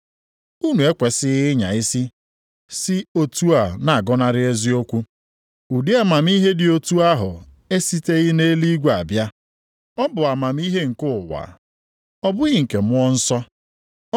Ma ọ bụrụ na obi unu ejupụta nʼihe ilu na ekworo na ịchọ naanị ihe nke onwe unu, mgbe ahụ, unu ekwesighị ịnya isi sị otu a na-agọnarị eziokwu.